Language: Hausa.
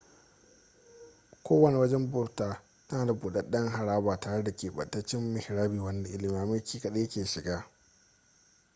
kowane wajen bauta tana da budaden haraba tare da kebantaccen mihrabi wanda limamai kadai ke shiga